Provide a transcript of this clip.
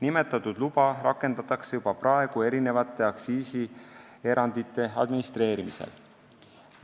Nimetatud luba rakendatakse juba praegu erinevate aktsiisierandite administreerimisel.